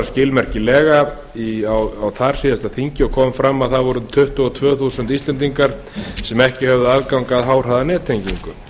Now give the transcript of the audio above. skilmerkilega á þar síðasta þingi og kom fram að það voru tuttugu og tvö þúsund íslendingar sem ekki höfðu aðgang að háhraðanettengingu